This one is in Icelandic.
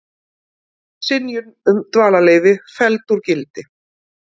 Synjun um dvalarleyfi felld úr gildi